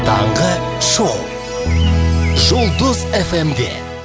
таңғы шоу жұлдыз эф эм де